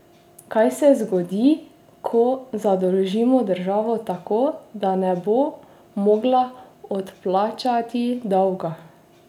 Kaj se zgodi, ko zadolžimo državo tako, da ne bo mogla odplačati dolga?